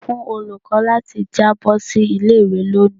Sọ fun olukọ lati jabo si ile-iwe loni!